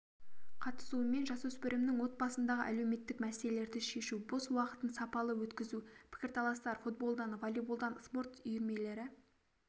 қатысуымен жасөспірімнің отбасындағы әлеуметтік мәселелерді шешу бос уақытын сапалы өткізу пікірталастар футболдан волейболдан спорт үйірмелері